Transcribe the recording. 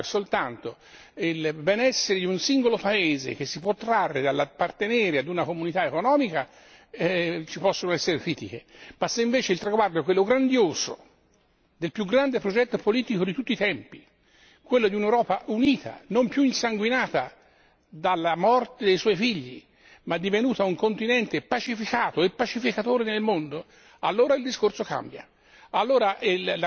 È chiaro che se il traguardo è soltanto il benessere di un singolo paese che si può trarre dall'appartenere ad una comunità economica ci possono essere critiche, ma se invece il traguardo è quello grandioso del più grande progetto politico di tutti i tempi, quello di un'Europa unita, non più insanguinata dalla morte dei suoi figli, ma divenuta un continente pacificato e pacificatore nel mondo, allora il discorso cambia.